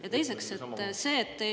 Ja teiseks see.